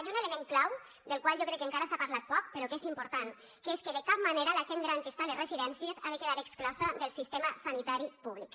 i un element clau del qual jo crec que encara s’ha parlat poc però que és important que és que de cap manera la gent gran que està a les residències ha de quedar exclosa del sistema sanitari públic